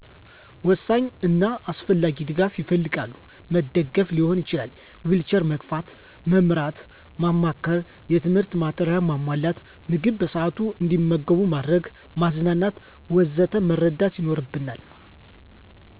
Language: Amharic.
ወሳኝ እና አስፈላጊ ድጋፍ ይፈልጋሉ። መደገፍ ሊሆን ይችላል፣ ዊልቸር መግፋት፣ መምራት፣ ማማከር፣ የትምህርት ማቴሪያል ማሟላት፣ ምግብ በሰአቱ አንዲመገቡ ማድረግ፣ ማዝናናት ወዘተ መርዳት ይኖርብናል።